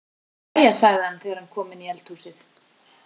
Jæja, sagði hann þegar hann kom inn í eldhúsið.